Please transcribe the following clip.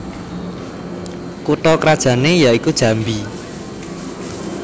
Kutha krajanne ya iku Jambi